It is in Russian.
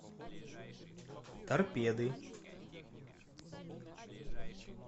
торпеды